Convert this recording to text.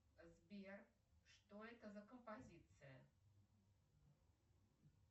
сбер что это за композиция